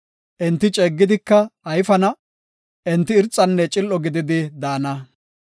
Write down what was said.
Enti ceeggidika ayfana; enti irxanne cil7o gididi daana.